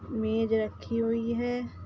मेज रखी हुई है।